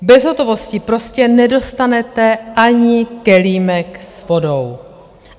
Bez hotovosti prostě nedostanete ani kelímek s vodou.